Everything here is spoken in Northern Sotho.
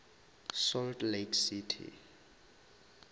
salt lake city